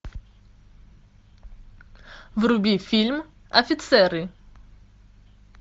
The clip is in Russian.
вруби фильм офицеры